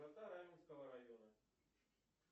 раменского района